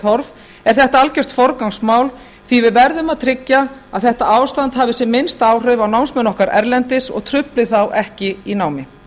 horf er þetta algjört forgangsmál því að við verðum að tryggja að þetta ástand hafi sem minnst áhrif á námsmenn okkar erlendis og trufli þá ekki í námi